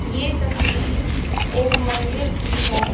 ये तस्वीर एक मंदिर की है।